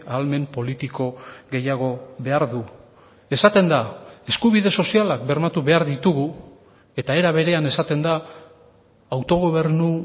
ahalmen politiko gehiago behar du esaten da eskubide sozialak bermatu behar ditugu eta era berean esaten da autogobernu